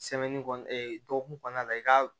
dɔgɔkun kɔnɔna la i ka